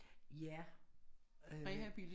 Ja øh